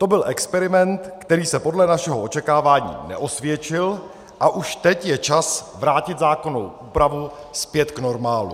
To byl experiment, který se podle našeho očekávání neosvědčil, a už teď je čas vrátit zákonnou úpravu zpět k normálu.